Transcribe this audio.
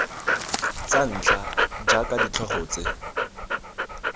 tsa ntlha jaaka ditlhogo tse